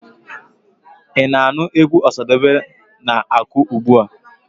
Ị na-anụ egwu Ọsadebe na-akụ ugbua.